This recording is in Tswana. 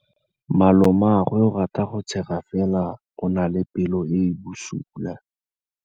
Malomagwe o rata go tshega fela o na le pelo e e bosula.